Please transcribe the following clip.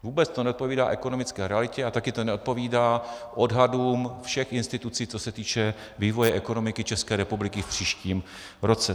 Vůbec to neodpovídá ekonomické realitě a taky to neodpovídá odhadům všech institucí, co se týče vývoje ekonomiky České republiky v příštím roce.